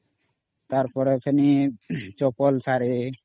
ତାର ପରେ ଫେଣି ଚପଲ ସାରି